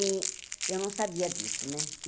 E eu não sabia disso, né?